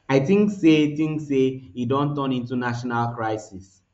i tink say tink say e don turn into national crisis